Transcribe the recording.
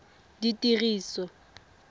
ditiriso